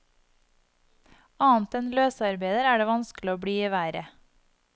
Annet enn løsarbeider er det vanskelig å bli i været.